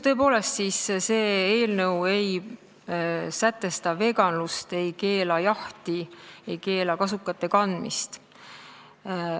Tõepoolest, see eelnõu ei sätestada veganlust, ei keela jahti, ei keela kasukate kandmist.